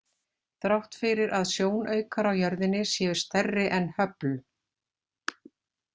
Þrátt fyrir að sjónaukar á jörðinni séu stærri en Hubble.